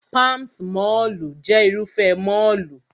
Palms mọ́ọ̀lù jẹ́ Irúfẹ́ mọ́ọ̀lù